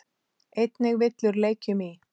Einnig villur leikjum í.